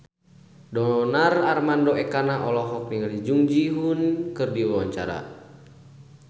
Donar Armando Ekana olohok ningali Jung Ji Hoon keur diwawancara